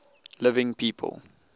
living people